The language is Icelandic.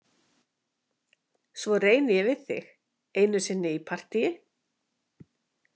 Svo reyni ég við þig einu sinni í partíi.